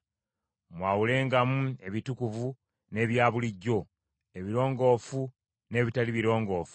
Mwawulengamu ebitukuvu n’ebyabulijjo, ebirongoofu n’ebitali birongoofu;